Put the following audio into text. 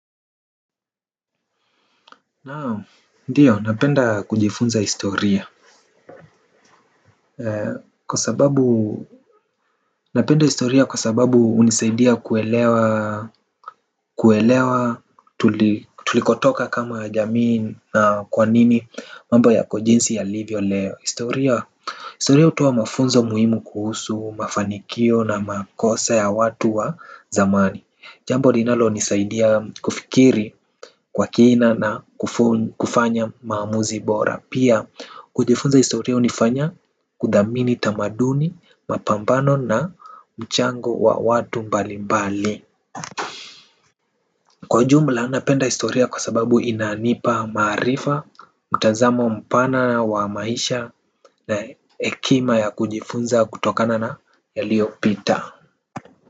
Naam, ndiyo, napenda kujifunza historia. Kwa sababu, napenda historia kwa sababu hunisaidia kuelewa. Kuelewa, tulikotoka kama jamii na kwa nini mambo ya kwa jinsi yalivyo leo. Historia, historia hutoa mafunzo muhimu kuhusu, mafanikio na makosa ya watu wa zamani. Jambo linalonisaidia kufikiri kwa kina na kufanya maamuzi bora. Pia kujifunza historia hunifanya kuthamini tamaduni, mapambano na mchango wa watu mbalimbali. Kwa jumla napenda historia kwa sababu inanipa maarifa mtazamo mpana wa maisha na hekima ya kujifunza kutokana na yaliopita.